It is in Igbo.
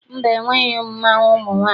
Mba, enweghị mmanwụ ụmụ nwaanyị.